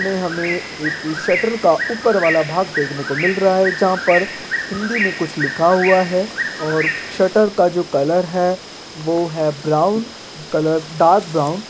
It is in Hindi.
इसमें हमें एक शटर का ऊपर वाला भाग देखने को मिल रहा है जहाँ पर हिन्दी में कुछ लिखा हुआ है और शटर का जो कलर वो है ब्राउन कलर डार्क ब्राउन --